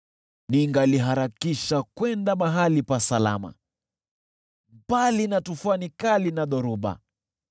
ningaliharakisha kwenda mahali pa salama, mbali na tufani kali na dhoruba.”